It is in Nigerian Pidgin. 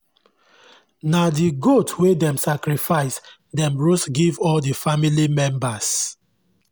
na the goat wey dem sacrifice dem roast give all the family members